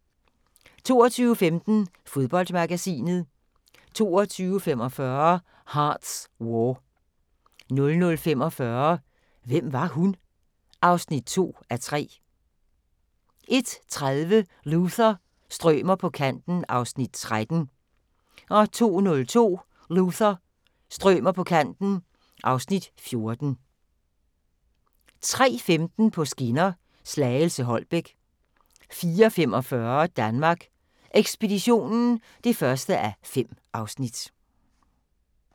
22:15: Fodboldmagasinet 22:45: Hart's War 00:45: Hvem var hun? (2:3) 01:30: Luther – strømer på kanten (Afs. 13) 02:20: Luther – strømer på kanten (Afs. 14) 03:15: På skinner: Slagelse – Holbæk 04:45: Danmark Ekspeditionen (1:5)